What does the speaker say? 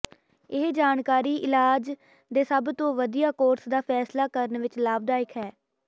ਇਹ ਜਾਣਕਾਰੀ ਇਲਾਜ ਦੇ ਸਭ ਤੋਂ ਵਧੀਆ ਕੋਰਸ ਦਾ ਫ਼ੈਸਲਾ ਕਰਨ ਵਿੱਚ ਲਾਭਦਾਇਕ ਹੈ